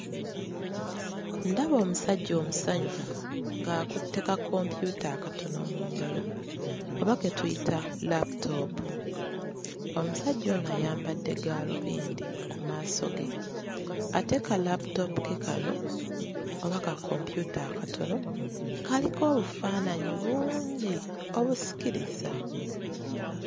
Ndaba omusajja omusanyufu ng'akutte ka kompyuta akatono mu ngalo oba ke tuyita laaputoopu. Omusajja ono ayambadde gaalubindi ku maaso ge. Ate ka laaputoopu ke kano oba ka kompyuta akatono kaliko obufaananyi bungi obusikiriza.